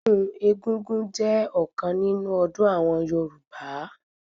Ọdún egúngún jẹ́ ọ̀kan nínú ọdún àwọn Yorùbá